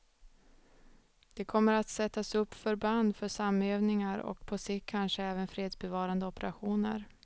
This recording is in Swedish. Det kommer att sättas upp förband för samövningar och på sikt kanske även fredsbevarande operationer.